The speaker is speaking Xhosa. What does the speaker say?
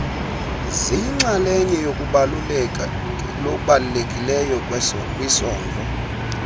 ziyinxaleye yokubalulekileyo kwisondlo